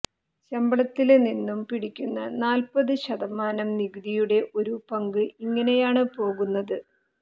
ശമ്പളത്തില്നിന്നും പിടിക്കുന്ന നാല്പ്പത് ശതമാനം നികുതിയുടെ ഒരു പങ്ക് ഇങ്ങനെയാണ് പോകുന്നത്